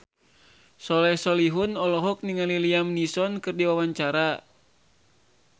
Soleh Solihun olohok ningali Liam Neeson keur diwawancara